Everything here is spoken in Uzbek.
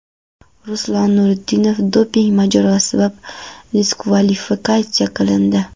Ruslan Nurudinov doping mojarosi sabab diskvalifikatsiya qilindi .